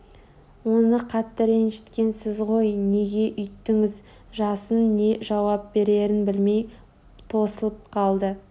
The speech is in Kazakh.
оны қатты ренжіткен сіз ғой неге өйттіңіз жасын не жауап берерін білмей тосылып қалды